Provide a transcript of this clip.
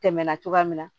Tɛmɛna cogoya min na